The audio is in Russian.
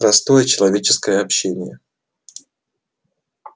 простое человеческое общение